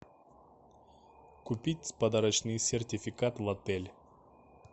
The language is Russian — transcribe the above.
купить подарочный сертификат в отель